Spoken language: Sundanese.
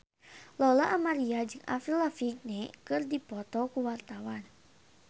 Lola Amaria jeung Avril Lavigne keur dipoto ku wartawan